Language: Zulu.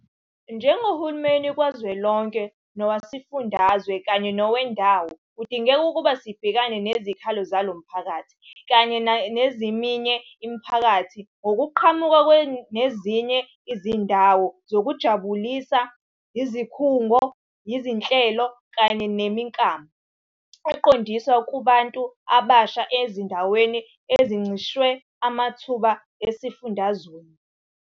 Njengohulumeni kazwelonke, nowesifundazwe kanye nowendawo kudingeka ukuba sibhekane nezikhalo zalo mphakathi kanye nezeminye imiphakathi ngokuqhamuka nezinye izindawo zokuzijabulisa, izikhungo, izinhlelo, kanye nemiklamo eqondiswe kubantu abasha ezindaweni ezincishwe amathuba esifundazweni.